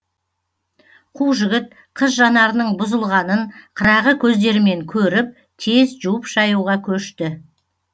қу жігіт қыз жанарының бұзылғанын қырағы көздерімен көріп тез жуып шаюға көшті